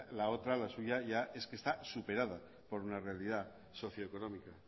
la otra la suya ya es que está superada por una realidad socio económica